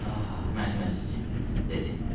Ah, mənim əzizim, dedi.